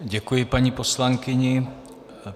Děkuji paní poslankyni.